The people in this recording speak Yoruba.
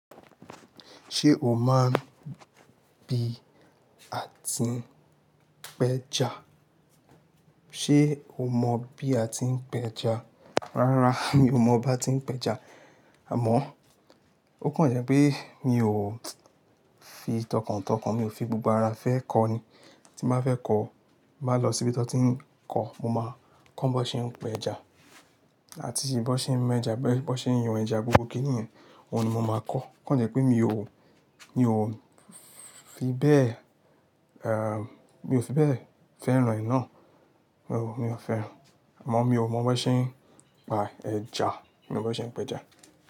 Ṣé o máa n bí à ti ń pẹja? Ṣé o mọ bí a ti ń pẹja? Rárá, mi ò mọ bá ti ń pẹja. Àmọ́, ó kàn jẹ́ pé mi ò fi tọkàntọkàn, mi ò fi gbogbo ara fẹ́ kọ́ ní. Tí n má fẹ́ kọ́, má lọ síbi tí wọ́n ti ń kọ́, mo máa kọ́ bó ṣe ń pẹja àti bí wọ́n ṣe ń mú ẹja, bí wọ́n ṣe ń yan ẹja gbogbo kiniyen òun ni mo máa kọ́. Okan jẹ́ pé mi ò, mi ò fi bẹ́ẹ̀, ehn, mi ò fi bẹ́ẹ̀ fẹ́ran e náà. Mi ò fẹ́ ẹ. Àmọ́ mi ò mọ bó ṣe ń pa ẹja, mi ò mọ bó ṣe ń pẹja.